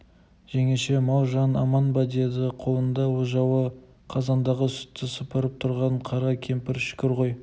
жеңеше мал-жан аман ба деді қолында ожауы қазандағы сүтті сапырып тұрған қара кемпір шүкір ғой